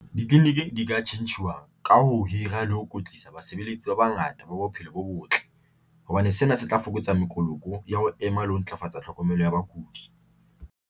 Ditleliniki di ka tjhentjhuwa ka ho hira le ho kwetlisa basebeletsi ba bangata ba bophelo bo botle hobane sena se tla fokotsa mokoloko ya ho ema le ho ntlafatsa tlhokomelo ya bakudi.